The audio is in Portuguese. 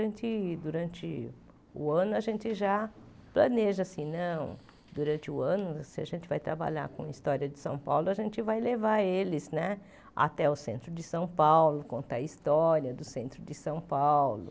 Então, durante o ano, a gente já planeja, assim não, durante o ano, se a gente vai trabalhar com história de São Paulo, a gente vai levar eles né até o centro de São Paulo, contar a história do centro de São Paulo.